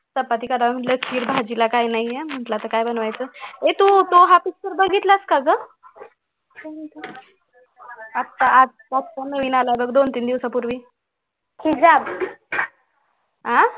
चपाती करूया म्हणलं खीर भाजीला काय नाहीये म्हणलं आता काय बनवायचं ए तू तू हा picture बघितलं का गं आता आज पासून नवीन आलाय बघ दोन तीन दिवसांपूवीं आह